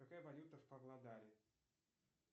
какая валюта в павлодаре